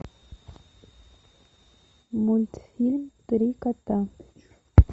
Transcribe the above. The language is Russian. мультфильм три кота